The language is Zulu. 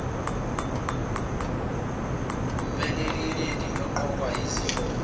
wumeluleki eqokwa yisihlobo